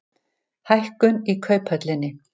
Hækkun í Kauphöllinni